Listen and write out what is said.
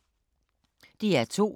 DR2